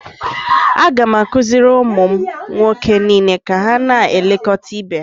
a ga m akụziri ụmụ m nwoke niile ka ha na-elekọta ibe ha